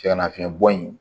Sɛgɛnnafiɲɛbɔ in